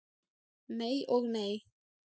Nei og nei.